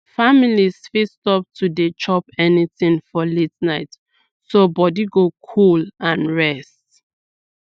families fit stop to dey chop anything for late night so body go cool and rest